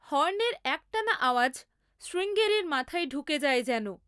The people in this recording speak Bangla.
হর্নের একটানা আওয়াজ শ্রীঙ্গেরির মাথায় ঢুকে যায় যেন।